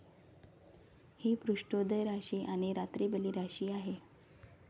हि पृष्ठोदय राशी आणि रात्रीबली राशी आहे.